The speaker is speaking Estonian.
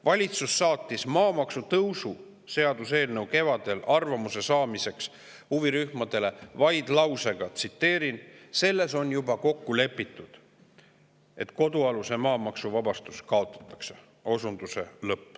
Valitsus saatis maamaksu tõusu seaduseelnõu kevadel arvamuse saamiseks huvirühmadele lausega, et selles on juba kokku lepitud, et kodualuse maa maksuvabastus kaotatakse.